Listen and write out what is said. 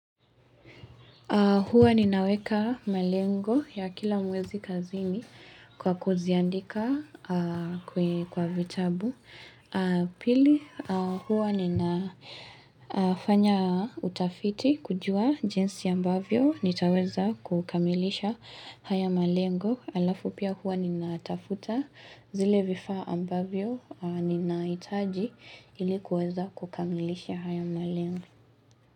Huwa ninaweka malengo ya kila mwezi kazini kwa kuziandika kwa vitabu. Pili, huwa ninafanya utafiti kujua jinsi ambavyo nitaweza kukamilisha haya malengo. Alafu pia huwa ninatafta zile vifaa ambavyo ninahitaji ili kuweza kukamilisha haya malengo.